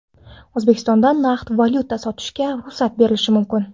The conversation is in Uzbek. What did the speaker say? O‘zbekistonda naqd valyuta sotishga ruxsat berilishi mumkin.